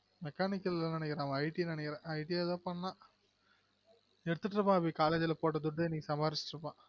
mechanical நெனைக்கிறென் IT நெனைக்கிறென் IT ஏதோ சொன்னான் எடுத்துட்டுருப்பான் அபி college ல போட்ட துட்ட இன்னைக்கு சம்பாதிச்சுட்டு இருப்பான்